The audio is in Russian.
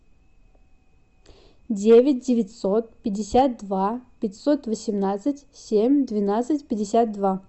девять девятьсот пятьдесят два пятьсот восемнадцать семь двенадцать пятьдесят два